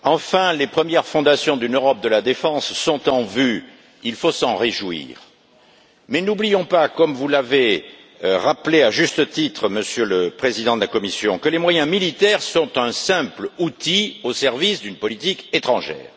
Madame la Présidente, enfin les premières fondations d'une Europe de la défense sont en vue. Il faut s'en réjouir. Mais n'oublions pas, comme vous l'avez rappelé à juste titre, Monsieur le Président de la Commission, que les moyens militaires sont un simple outil au service d'une politique étrangère.